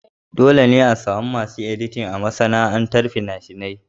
Dole ne a samu masu yin editin a masana'antar fina-fina.